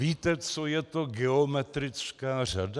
Víte, co je to geometrická řada?